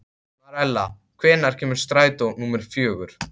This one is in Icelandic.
Marela, hvenær kemur strætó númer fjögur?